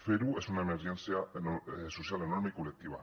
fer ho és una emergència social enorme i col·lectiva